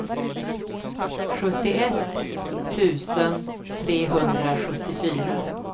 sjuttioett tusen trehundrasjuttiofyra